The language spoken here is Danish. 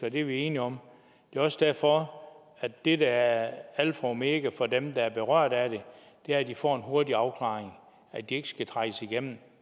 at det er vi enige om det er også derfor at det der er alfa og omega for dem der er berørt af det er at de får en hurtig afklaring at de ikke skal trækkes igennem